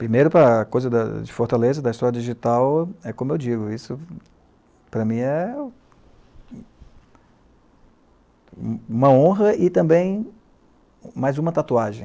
Primeiro, a coisa de Fortaleza, da História Digital, é como eu digo, isso para mim é uma honra e também mais uma tatuagem.